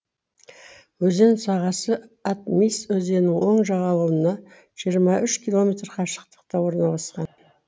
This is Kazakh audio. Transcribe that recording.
өзен сағасы атмисс өзенінің оң жағалауынан жиырма үш километр қашықтықта орналасқан